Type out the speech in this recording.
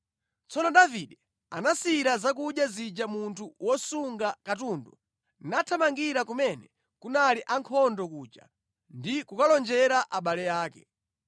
Tsono Davide anasiyira zakudya zija munthu wosunga katundu nathamangira kumene kunali ankhondo kuja ndi kukalonjera abale ake.